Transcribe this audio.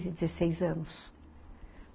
quinze, dezesseis anos.